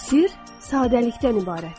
Sir sadəlikdən ibarətdir.